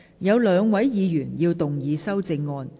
有兩位議員要動議修正案。